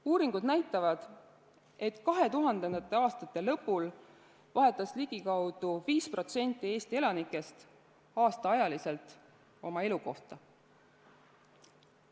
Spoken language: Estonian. Uuringud näitavad, et 2000. aastate lõpul vahetas ligikaudu 5% Eesti elanikest aastaajaliselt elukohta.